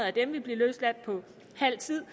af dem vil blive løsladt på halv tid